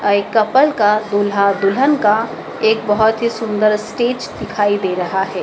एक कपल का दूल्हा-दुल्हन का एक बहोत ही सुंदर स्टेज दिखाई दे रहा है।